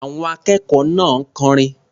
Àwọn akẹ́kọ̀ọ́ náà kọrin.